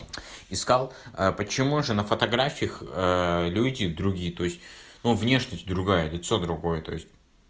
искал почему же на фотографиях люди другие то есть ну внешность другая лицо другое то есть